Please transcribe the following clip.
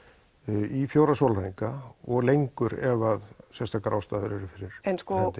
í fjóra sólahringa og lengur ef sérstakar ástæður eru fyrir hendi